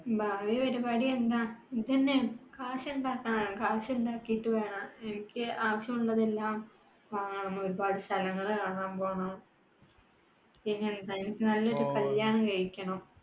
ഭാവി പരിപാടി എന്താ. കാശ് ഉണ്ടാക്കണം കാശ് ഉണ്ടാക്കിയിട്ട് വേണം എനിക്ക് ആവശ്യമുള്ളതെല്ലാം വാങ്ങാൻ പോണം, ഒരുപാട് സ്ഥലങ്ങൾ കാണാൻ പോണം. പിന്ന എന്താ നല്ലൊരു കല്യാണം. കഴിക്കേണം